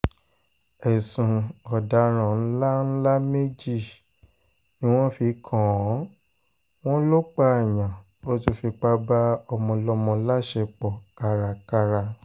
ẹ̀sùn ọ̀daràn ńlá ńlá méjì ni wọ́n fi kàn án wọ́n lọ pààyàn ó tún fipá bá ọmọọlọ́mọ láṣepọ̀ kárakára